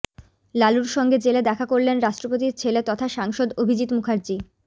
লালুর সঙ্গে জেলে দেখা করলেন রাষ্ট্রপতির ছেলে তথা সাংসদ অভিজিত্ মুখার্জি